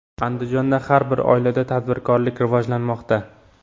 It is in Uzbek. Andijonda har bir oilada tadbirkorlik rivojlanmoqda.